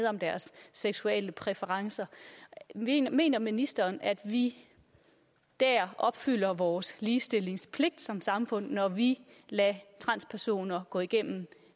om deres seksuelle præferencer mener mener ministeren at vi opfylder vores ligestillingspligt som samfund når vi lader transpersoner gå igennem